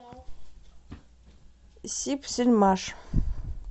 сибсельмаш